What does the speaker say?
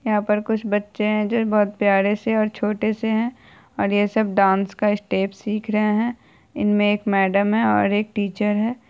यहाँ पर कुछ बच्चे है जो बहुत प्यारे से और छोटे से है और ये सब डांस का स्टेप सिख रहे है। इनमे एक मैडम है और एक टीचर है।